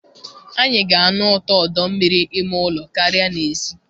Anyị ga-anụ ụtọ ọdọ mmiri ime ụlọ karịa n'èzí.